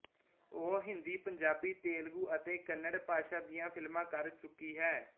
ਉਹ ਹਿੰਦੀ ਪੰਜਾਬੀ ਤੇਲਗੂ ਅਤੇ ਕੰਨੜ ਭਾਸ਼ਾ ਦੀਆਂ ਫ਼ਿਲਮਾਂ ਕਰ ਚੁੱਕੀ ਹੈ